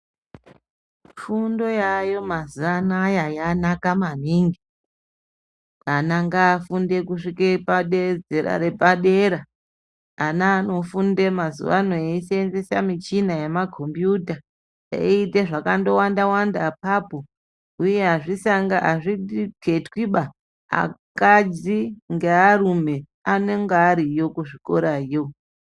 Fundo yayo mazuva anaya yanaka maningi. Ana ngafunde kusvika pazera repadera ana anofunda mazuva ano eisenzesa michina yemakombiyuta. Eiite zvakandowanda-wanda apapo uye hazviketwiba akadzi ngearume anenga ariyo kuzvikorayo.